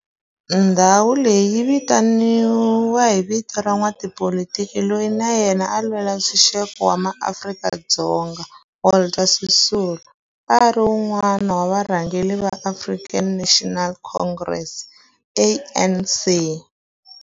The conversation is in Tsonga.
Walter Sisulu Square i ndhawu leyi kumekaka exifundzheni-nkulu xa Gauteng, Johannesburg, a Soweto, exikarhi ka xitikwana xa Kliptown.